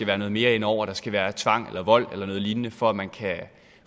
være noget mere indover der skal være tvang eller vold eller noget lignende for at man kan